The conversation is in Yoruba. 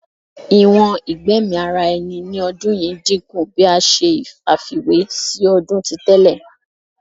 Iwọn igbẹmi ara ẹni ni ọdun yii dinku bi a ṣe àfiwé si ọdun ti tẹlẹ